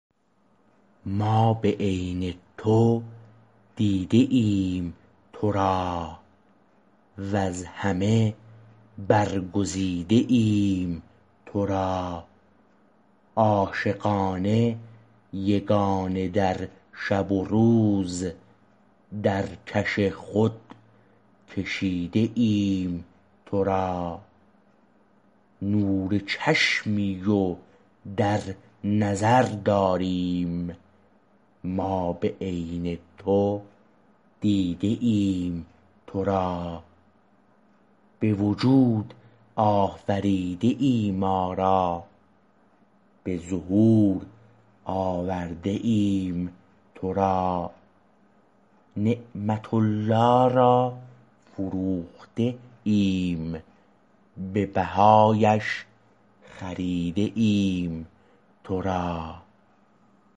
ما به عین تو دیده ایم تو را وز همه برگزیده ایم تو را عاشقانه یگانه در شب و روز در کش خود کشیده ایم تو را نور چشمی و در نظر داریم ما به عین تو دیده ایم تو را به وجود آفریده ای ما را به ظهور آورده ایم تو را نعمت الله را فروخته ایم به بهایش خریده ایم تو را